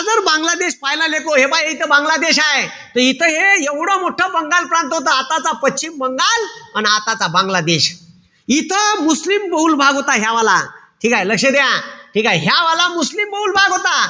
जर बांगलादेश पहिला लेकहो, हे पहा इथं बांग्लादेश हाये. त इथं हे एवढं मोठं बंगाल प्रांत होत. आताचा पश्चिम बंगाल अन आताचा बांगलादेश. इथं मुस्लिम भाग होता ह्या वाला. ठीकेय? लक्ष द्या. ठीकेय? ह्या वाला मुस्लिम भाग होता.